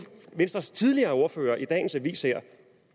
venstres tidligere ordfører en dagens aviser